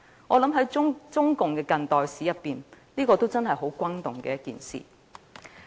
我想在中共的近代史中，這確實是一件相當轟動的事件。